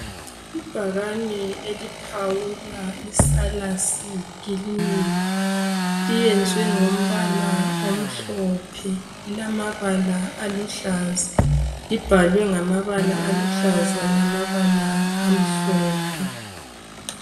Ibhakane eliphawula iSalus clinic liyenzwe ngombala omhlophe, lilamabala aluhlaza, libhalwe ngamabala aluhlaza lamabala amhlophe.